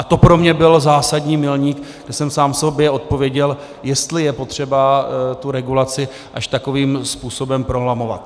A to pro mě byl zásadní milník, kdy jsem sám sobě odpověděl, jestli je potřeba tu regulaci až takovým způsobem prolamovat.